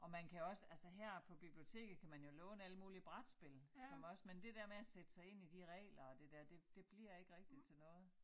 Og man kan også altså her på biblioteket kan man jo låne alle mulige brætspil som også men det dér med at sætte sig ind i de regler og det dér det det bliver ikke rigtig til noget